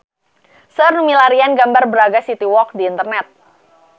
Seueur nu milarian gambar Braga City Walk di internet